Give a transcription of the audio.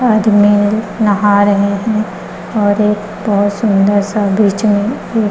आदमी नहा रहे है और एक बहुत सुन्दर सा बीच में एक --